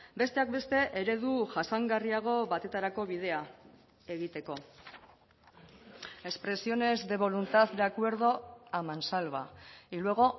besteak beste eredu jasangarriago batetarako bidea egiteko expresiones de voluntad de acuerdo a mansalva y luego